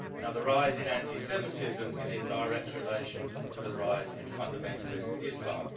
Now, the rise in anti Semitism is in direct relation to the rise in fundamentalist Islam.